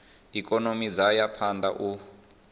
ikonomi dzo ya phanda u